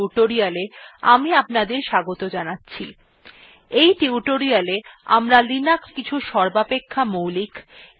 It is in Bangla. in tutorialতে আমরা linuxin কিছু সর্বাপেক্ষা মৌলিক of এখনও প্রচুরভাবে ব্যবহৃত র্নিদেশাবলীর সঙ্গে পরিচিত হব